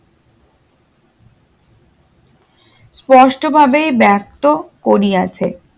post ভাবে বার্তো করিয়াছে